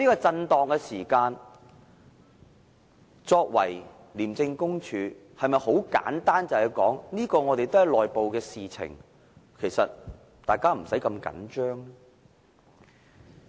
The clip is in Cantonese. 面對這種震盪時，廉署能否十分簡單地說，這是內部的事情，大家無須那麼緊張呢？